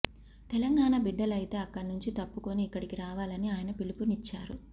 తెలంగాణ బిడ్డలయితే అక్కడి నుంచి తప్పుకుని ఇక్కడికి రావాలని ఆయన పిలుపునిచ్చారు